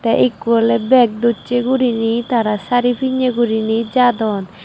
te ekko ole bag dochi guriney tara saree pinne guriney jadon.